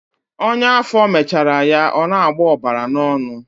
Ọnya afọ mechara ya ọ na-agbọ ọbara n'ọnụ.